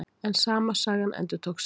En sama sagan endurtók sig.